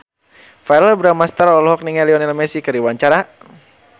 Verrell Bramastra olohok ningali Lionel Messi keur diwawancara